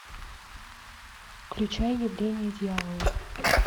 включай явление дьявола